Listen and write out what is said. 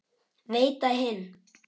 Veita hinn